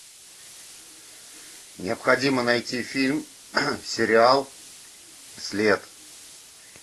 необходимо найти фильм сериал след